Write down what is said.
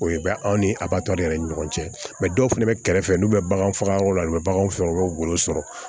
O ye bɛ anw ni a b'a tɔ de yɛrɛ ni ɲɔgɔn cɛ mɛ dɔw fana bɛ kɛrɛfɛ n'u bɛ bagan faga yɔrɔ la u bɛ bagan faga u b'o golo sɔrɔ